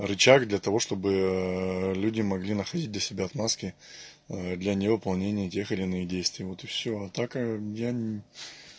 рычаг для того чтобы люди могли находить для себя отговорки для не выполнения тех или иных действий вот и всё а так я ни